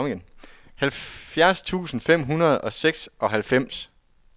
halvfjerds tusind fem hundrede og seksoghalvfems